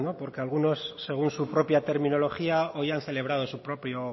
porque algunos según su propia terminología hoy han celebrado su propio